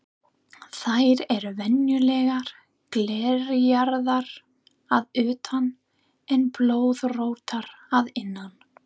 Þær eru venjulega glerjaðar að utan en blöðróttar að innan.